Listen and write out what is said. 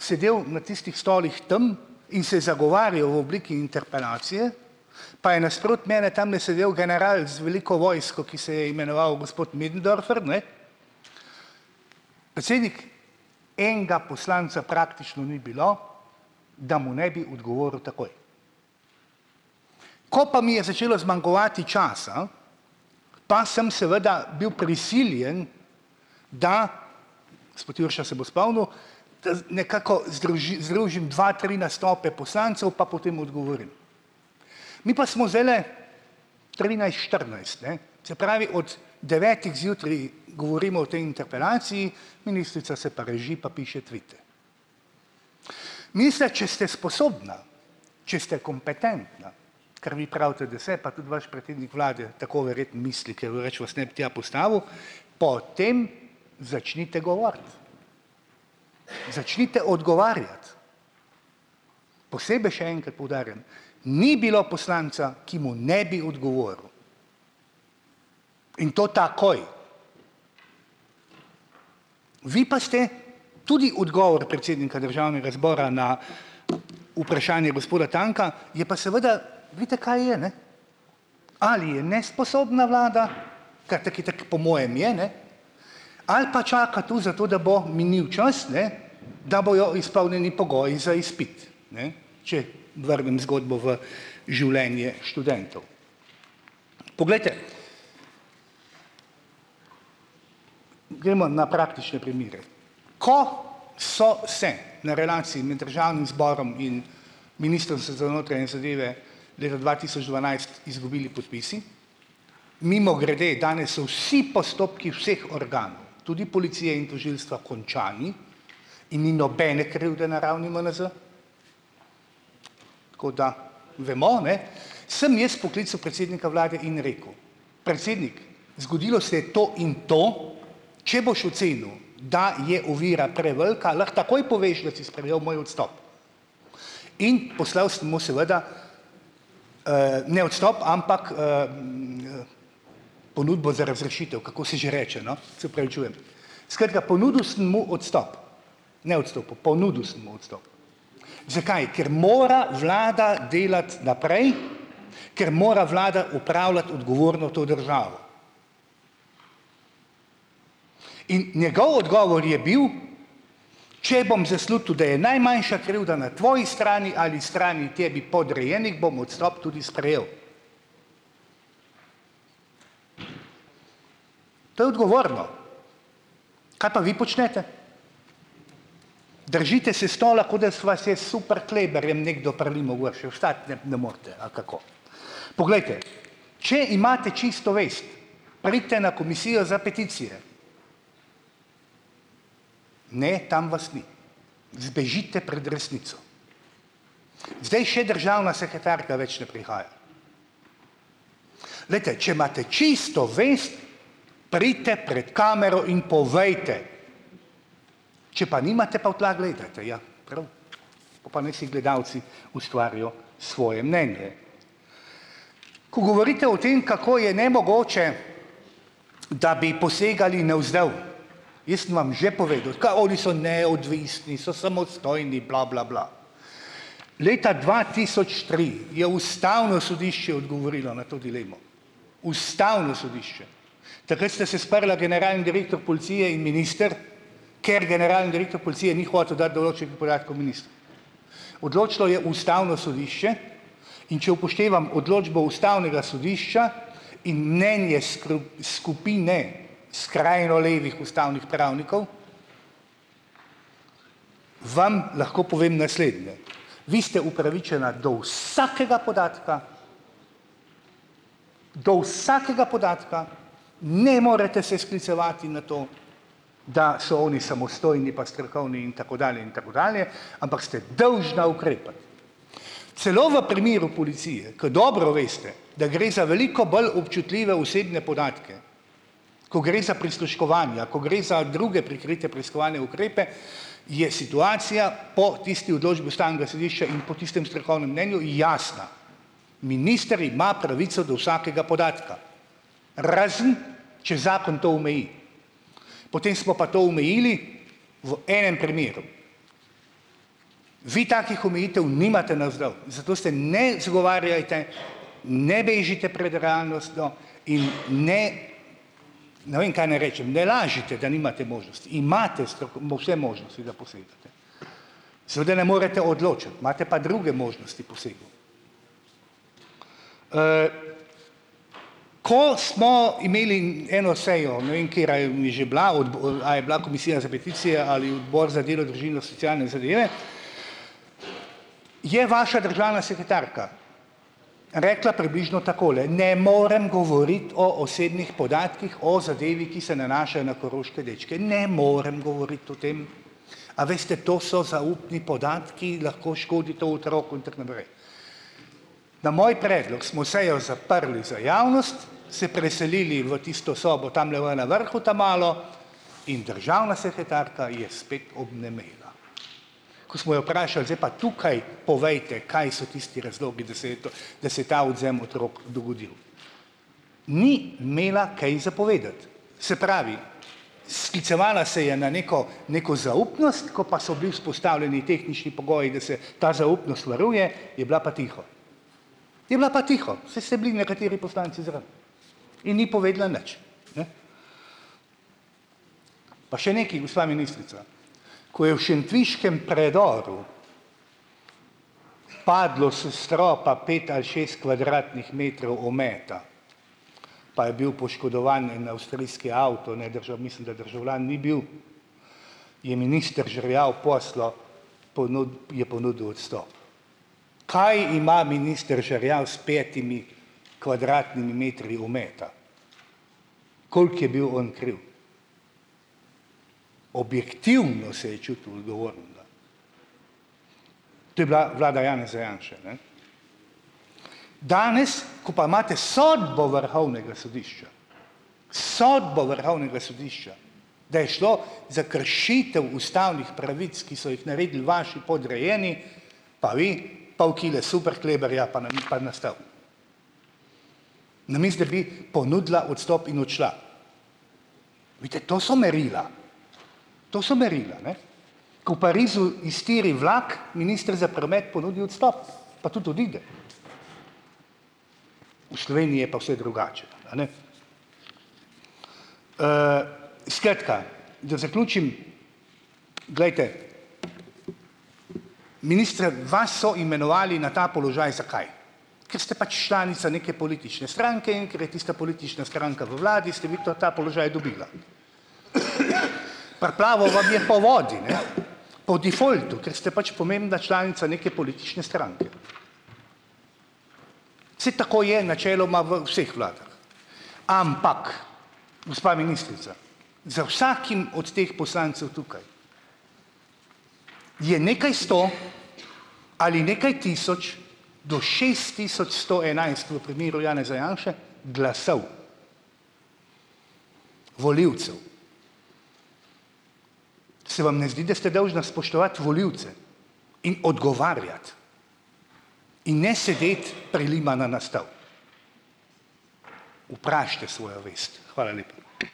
sedel na tistih stolih tam in se zagovarjal v obliki interpelacije, pa je nasproti mene tamle sedel general z veliko vojsko, ki se je imenoval gospod Möderndorfer, ne. Predsednik, enega poslanca praktično ni bilo, da mu ne bi odgovoril takoj. Ko pa mi je začelo zmanjkovati časa, pa sem seveda bil prisiljen, da, gospod Jurša se bo spomnil, nekako združim dva, tri nastope poslancev, pa potem odgovorim. Mi pa smo zdajle štirinajst, ne, se pravi, od devetih zjutraj govorimo o tej interpelaciji, ministrica se pa reži, pa piše tvite. če ste sposobna, če ste kompetentna, kar vi pravite, da se, pa tudi vaš vlade tako verjetno misli, po tem začnite govoriti. Začnite odgovarjati. Posebej še enkrat poudarjam, ni bilo poslanca, ki mu ne bi odgovoril, in to takoj. Vi pa ste tudi odgovor predsednika državnega zbora na vprašanje gospoda Tanka, je pa seveda, vidite, kaj je, ne, ali je nesposobna vlada, kar tako itak po mojem je, ne, ali pa čaka tu zato, da bo minil čas, ne, da bojo izpolnjeni pogoji za izpit, ne, če vrnem zgodbo v življenje študentov. Poglejte, gremo na praktične primere. Ko so se na relaciji med državnim zborom in leta dva tisoč dvanajst izgubili podpisi, mimogrede, danes so vsi postopki vseh organov, tudi policije in tožilstva, končani in ni nobene krivde na ravni MNZ, tako da vemo, ne, sem jaz poklical predsednika vlade in rekel: "Predsednik, zgodilo se je to in to, če boš ocenil, da je ovira prevelika, lahko takoj poveš, da si sprejel moj odstop." In poslal sem mu seveda, ne odstop, ampak ponudbo za razrešitev, kako se že reče, no, se opravičujem, skratka, ponudil sem mu odstop, ne odstopil, ponudil sem mu odstop. Zakaj? Ker mora vlada delati naprej, ker mora vlada upravljati odgovorno to državo. In njegov odgovor je bil, če bom zaslutil, da je najmanjša krivda na tvoji strani ali strani tebi podrejenih, bom odstop tudi sprejel. To je odgovorno. Kaj pa vi počnete? Držite se stola, ko da so vas je s super kleberjem nekdo prilimal gor, še vstati ne bi ne morete, ali kako. Poglejte, če imate čisto vest, pridite na Komisijo za peticije. Ne, tam vas ni, zbežite pred resnico. Zdaj še državna sekretarka več ne prihaja. Glejte, če imate čisto vest, pridite pred kamero in povejte! Če pa nimate, pa v tla gledate, ja, prav, pol pa naj si gledalci ustvarijo svoje mnenje. Ko govorite o tem, kako je nemogoče, da bi posegali navzdol, jaz sem vam že povedal, kaj oni so neodvisni, so samostojni bla, bla, bla. Leta dva tisoč tri je ustavno sodišče odgovorilo na to dilemo. Ustavno sodišče. Takrat sta se sprla generalni Policije in minister, ker generalni direktor Policije ni hotel dati določenih podatkov ministru. Odločilo je ustavno sodišče. In če upoštevam odločbo ustavnega sodišča in mnenje skupine skrajno levih ustavnih pravnikov, vam lahko povem naslednje, vi ste upravičena do vsakega podatka, do vsakega podatka, ne morete se sklicevati na to, da so oni samostojni, pa strokovni in tako dalje in tako dalje, ampak ste dolžna ukrepati. Celo v primeru Policije, ki dobro veste, da gre za veliko bolj občutljive osebne podatke, ko gre za prisluškovanja, ko gre za druge prikrite preiskovalne ukrepe, je situacija po tisti odločbi ustavnega sodišča in po tistem strokovnem mnenju jasna, minister ima pravico do vsakega podatka, razen če zakon to omeji. Potem smo pa to omejili v enem primeru. Vi takih omejitev nimate navzdol, zato se ne izgovarjajte, ne bežite pred realnostjo in ne, ne vem, kaj naj rečem, ne lažite, da nimate možnosti, imate. Seveda ne morete odločati, imate pa druge možnosti posegov. Ko smo imeli eno sejo, ne vem, katera je že bila, a je bila Komisija za peticije ali Odbor za delo, družino socialne zadeve, je vaša državna sekretarka rekla približno takole: "Ne morem govoriti o osebnih podatkih, o zadevi, ki se nanaša na koroške dečke, ne morem govoriti o tem, a veste, to so zaupni podatki, lahko škodi to otroku in tako naprej." Na moj predlog smo sejo zaprli za javnost, se preselili v tisto sobo tamle v na vrhu ta malo in državna sekretarka je spet obnemela. Ko smo jo vprašali, zdaj pa tukaj povejte, kaj so tisti razlogi, da se je to, da se je ta odvzem otrok dogodil, ni imela kaj za povedati. Se pravi, sklicevala se je na neko neko zaupnost, ko pa so bili vzpostavljeni tehnični pogoji, da se ta zaupnost varuje, je bila pa tiho. Je bila pa tiho, saj se bili nekateri poslanci in ni povedala nič, ne. Pa še nekaj, gospa ministrica, ko je v šentviškem predoru padlo s stropa pet ali kvadratnih metrov ometa, pa je bil poškodovan en avstrijski avto, ne, mislim, da državljan ni bil, je minister Žerjav poslal, je ponudil odstop. Kaj ima minister Žerjav s petimi kvadratnimi metri ometa. Koliko je bil on kriv? Objektivno se je čutil odgovornega. To je bila vlada Janeza Janše, ne. Danes, ko pa imate sodbo Vrhovnega sodišča, sodbo Vrhovnega sodišča, da je šlo za kršitev ustavnih pravic, ki so jih naredili vaši podrejeni, pa vi, paol kile superkleberja pa na pa na stol. Namesto da bi ponudila odstop in odšla. Vidite, to so merila. To so merila, ne. Ko v Parizu iztiri vlak, minister za promet ponudi odstop pa tudi odide. V Sloveniji je pa vse drugače, a ne. Skratka, da zaključim. Glejte, ministra, vas so imenovali na ta položaj zakaj, ste pač članica neke politične stranke in ker je tista politična stranka v vladi ste vi to ta položaj dobila. Priplaval vam je po vodi, ne, po defaultu, ker ste pač pomembna članica neke politične stranke. Saj tako je načeloma v vseh vladah, ampak gospa ministrica, za vsakim od teh poslancev tukaj je nekaj sto ali nekaj tisoč do šest tisoč sto enajst, v primeru Janeza Janše, glasov, volivcev. Se vam ne zdi, da ste dolžna spoštovati volivce in odgovarjati in ne sedeti prilimana na stol. Vprašajte svojo vest. Hvala lepa.